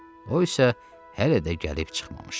O isə hələ də gəlib çıxmamışdı.